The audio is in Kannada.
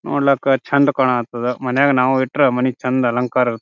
ನೋಡ್ಲಕ್ಕಾ ಚಂದ್ ಕಾಣಾತ್ತದ ಮನೆಗ್ ನಾವ್ ಇಟ್ರೆ ಮನಿಗ್ ಚಂದ್ ಅಲಂಕಾರ ಇರುತ್ --